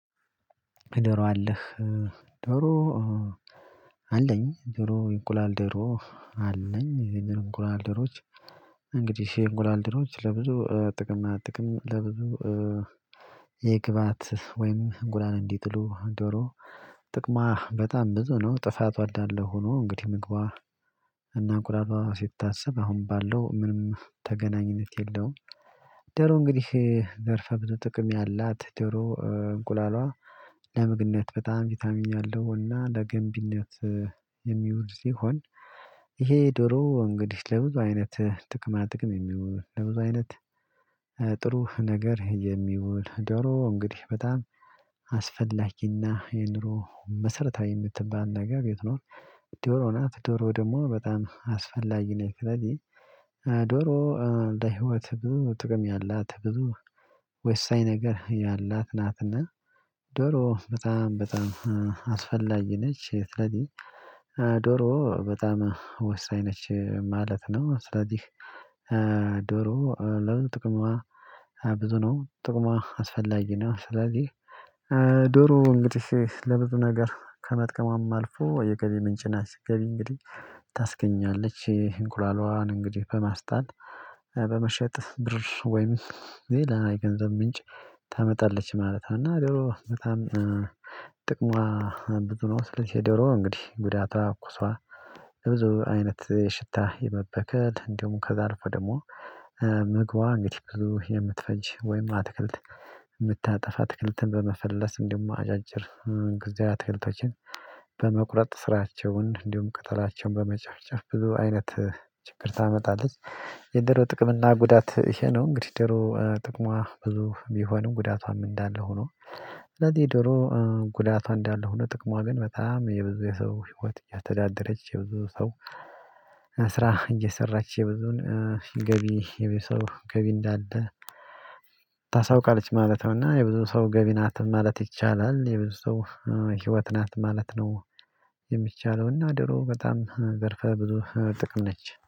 ዶሮ አለህ ዶሮ አለኝ ዶሮ የእንቁላል ደሮ አለኝ ይህንን እንቁላል ዶሮዎች እንግዲህ የእንቁላል ዶሮዎች ለብዙ ጥቅማጥቅም ለብዙ የግብአት ወይም እንቁላን እንዲጥሉ ዶሮ ጥቅሟ በጣም ብዙ ነው ጥፋቷ እዳለ ሆኖ እንግዲህ ምግቧ እና ቁራባ ስታስብ አሁን ባለው ምንም ተገናኝነት የለውም። ዶሮ እንግዲህ ዘርፈ ብዙ ጥቅም ያላት ዶሮ እንቁላሏ ለምግነት በጣም ቪታሚን ያለው እና ለገንቢነት የሚውል ሲሆን ይሄ ዶሮ እንግዲህ ለብዙ አይነት ጥቅማ ጥቅም የሚውል ለብዙ አይነት ጥሩ ነገር የሚውል ዶሮ እንግዲህ በጣም አስፈላጊና የኑሮ መሰረታዊ የምትባል ነገር የት ነው? ዶሮ ናት ዶሮ ደግሞ በጣም አስፈላጊ ነች ስለዚህ ዶሮ ለህይወት ብዙ ጥቅም ያላት ብዙ ወሳኝ ነገር ያላት ናትና ዶሮ በጣም በጣም አስፈላጊ ነች ስለዚህ ዶሮ በጣም ወሳኝ ነች ማለት ነው። ስለዚህ ዶሮ ለብዙ ጥቅሟ ብዙ ነው ጥቅሟ አስፈላጊ ነው። ስለዚህ ዶሮ እንግዲህ ለብዙ ነገር ከመጥቀሟም አልፎ የገቢ ምንጭ ናት ገቢ እንግዲህ ታስገኛለች እንቁላሏን እንግዲህ በማስጣት በመሸጥ ብር ወይም ሌላ የገንዘብ ምንጭ ታመጣለች ማለት ነው። እና ዶሮ በጣም ጥቅሟ ብዙ ነው ስለዝህ የዶሮ እንግዲህ ጉዳቷ ኩሷ በብዙ አይነት ሽታ የመበከል እንደውም ከዛ አልፎ ደግሞ ምግቧ እንግዲህ ብዙ የምትፈጅ ወይም አትክልት የምታጠፋ ትክልትን በመፈለስ እንዲሁም አጫጭር ጊዜያዊ አትክልቶችን በመቁረጥ ስራቸውን እንዲሁም ቅጠላቸውን በመጨፍጨፍ ብዙ አይነት ችግር ታመጣለች። የዶሮ ጥቅም እና ጉዳት ይሄ ነው። እንግዲህ ዶሮ ጥቅሟ ብዙ ቢሆንም ጉዳቷም እንዳለ ሆኖ ስለዚህ ደግሞ ጉዳቷ እንዳለ ሆኖ ጥቅሟ ግን በጣም የብዙ የሰው ህይወት እያስተዳደረች የብዙ ሰው ስራ እየሰራች የብዙን ገቢ የብዙ ሰው ገቢ እንዳለ ታሳውቃለች ማለት ነው። እና የብዙ ሰው ገቢ ናት ማለት ይቻላል የብዙ ሰው ህይወት ናት ማለት ነው። የሚቻለው እና ዶሮ በጣም ዘርፈ ብዙ ጥቅም ነች